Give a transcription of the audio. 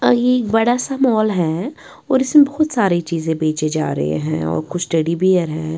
और ये एक बड़ा सा मॉल है और इसमें बहोत सारे चीजें बेचे जा रहे हैं और कुछ टेडी बियर है।